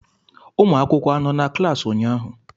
ụmụ akwụkwọ anọ na klaasị ụnyaahụ?